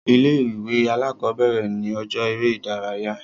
Ilé ìwé alákọ̀bẹ̀rẹ̀ ni ọjọ́ eré ìdárayá.